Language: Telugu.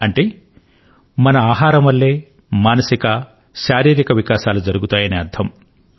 అంటే మన ఆహారం వల్లే మానసిక శారీరక వికాసాలు జరుగుతాయని అర్థం